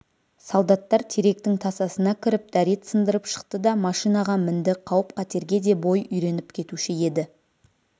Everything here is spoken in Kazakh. солдаттар теректің тасасына кіріп дәрет сындырып шықты да машинаға мінді қауіп-қатерге де бой үйреніп кетуші еді